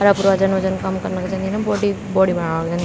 अर अपरों जन वजन कम कना खुन जन्दीन बॉडी बॉडी बनाणा खुन जन्दिन।